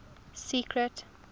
secret